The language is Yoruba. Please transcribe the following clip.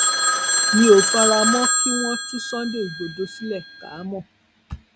mi ò fara mọ kí wọn tú sunday igbodò sílẹ káàámọ